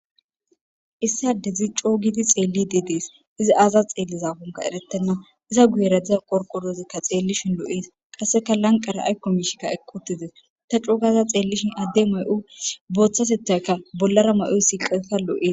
Issi adezi c'o'u gidi xelide dees izi xelizakoka eretena iza guyera de'iya qorqorozika xelishe lo'es qaseka lanqera ayko mishika eqiwutides ta c'o'u gada xelishe Ade may'o botatetayka bolara ma'oysika karetha lo'es.